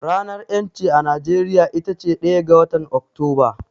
Ranar ƴancin a Najeriya itace ɗaya ga watan Oktoba.